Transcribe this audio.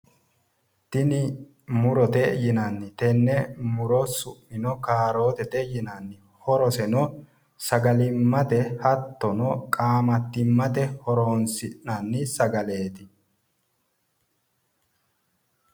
Tini murote yinanni tenne muro su'mino kaarootete yinanniho horoseno sagalimmate hattono qaamattimmate horoonsi'nanni sagaleeti